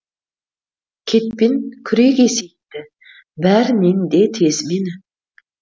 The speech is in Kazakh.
кетпен күрек есейтті бәрінен де тез мені